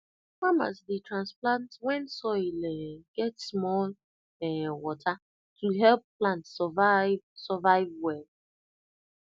farmers dey transplant when soil um get small um water to help plant survive survive well